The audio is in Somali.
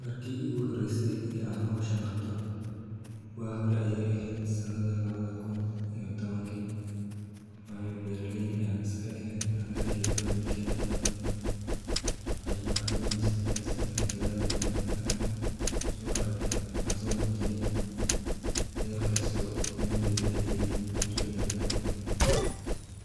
Marki iguhoreyse ee aan hawshan qabto waag hore ayee eheed sanadkii lawadha kun iyo tawanki, wayo beeraley ayaan iskaeheen anaga iyo familkeena bo waxey noocadeyneysa midas inaan dadhaal badhan aan kusooaragney aan soomujine dadhaalkas oo inomira daliye marki dambe